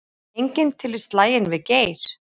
Enginn til í slaginn við Geir